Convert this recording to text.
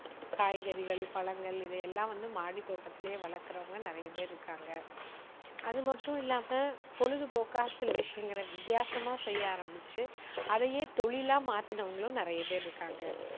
காய்கறிகள், பழங்கள் இதையெல்லாம் வந்து மாடி தோட்டத்துலேயே வளர்க்குறவங்க நிறைய பேர் இருக்காங்க. அதுமட்டும் இல்லாம பொழுதுபோக்கா சில விஷயங்களை வித்தியாசமா செய்ய ஆரம்பிச்சு, அதையே தொழிலா மாத்துனவங்களும் நிறைய பேர் இருக்காங்க.